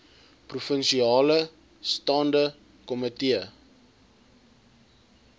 provinsiale staande komitee